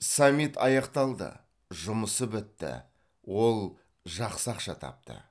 саммит аяқталды жұмысы бітті ол жақсы ақша тапты